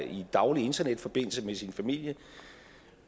i daglig internetforbindelse med sin familie